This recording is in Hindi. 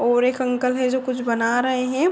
और एक अंकल हैं जो कुछ बना रहे हैं।